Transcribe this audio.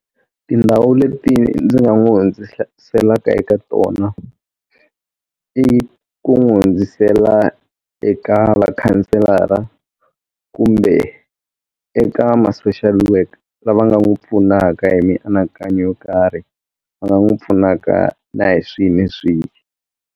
Tindhawu leti ndzi nga n'wi hundziselaka eka tona i ku n'wi hundzisela eka vakhanselara mara kumbe eka ma social worker lava nga n'wi pfunaka hi mianakanyo yo karhi va nga n'wi pfunaka na hi swihi ni swihi.